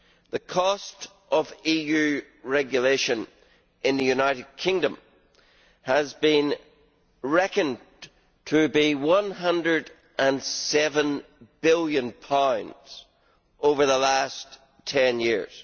The cost of EU regulation in the United Kingdom has been reckoned to be GBP 107 billion over the last ten years.